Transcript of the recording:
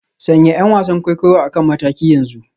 Sanya 'yan wasan kwaikwayo a kan mataki yanzu